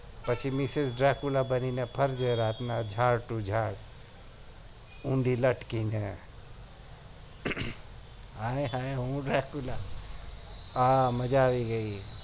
પછી missis બની ને ફરજે ઉંધી લટકી ને આય હાય મજા આવી ગયી